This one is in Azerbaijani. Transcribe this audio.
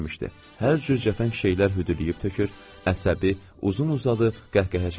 Hər cür cəfəng şeylər hüdübləyib tökür, əsəbi, uzun-uzadı qəhqəhə çəkirdi.